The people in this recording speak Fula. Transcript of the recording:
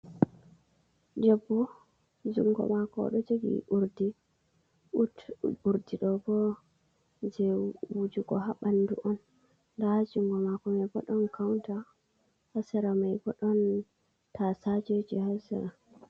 Debbo jungo mako o do jegi urdi do bo je wujugo habandu on da jungo mako mai bodon kaunta hasara mai bodon tasaje haa sera.